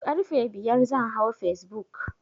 Karfe biyar zan hau facebook